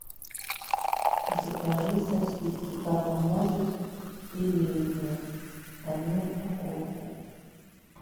закажи сосиски папа может филейные одну упаковку